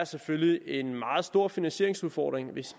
selvfølgelig en meget stor finansieringsudfordring hvis